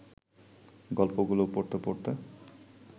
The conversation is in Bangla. গল্পগুলো পড়তে পড়তে